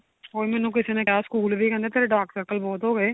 ਉਹੀ ਮੈਨੂੰ ਕਿਸੇ ਨੇ school ਵੀ ਕਹਿੰਦੇ ਤੇਰੇ dark circle ਬਹੁਤ ਹੋ ਗਏ